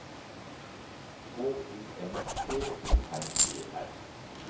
K O N T O R E R